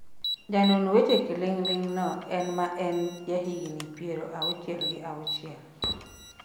janon weche kiling'ling no ma en jahigni piero auchiel gi auchiel